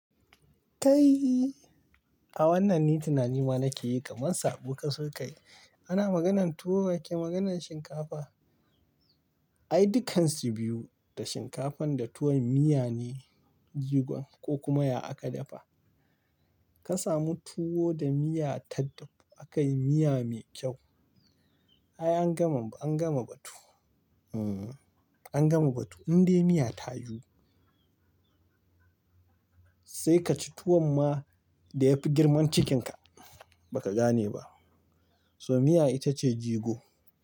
Kai, a wannan ni tunani ma nake yi kaman saɓo ka so ka yi. Ana maganan tuwo ake maganan shinkafa. Ai dukansu biyu da shinkafan da tuwon miya ne jigon ko kuma ya aka dafa. Ka samu tuwo da miya tadda aka yi miya mai kyau. Ai an gama, an gama batu. Hmm. An gama batu in dai miya ta yiwu. Sai ka ci tuwon ma da yafi girman cikinka ba ka gane ba. So miya ita ce jigo.